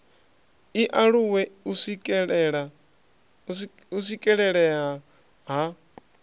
i aluwe u swikelelea ha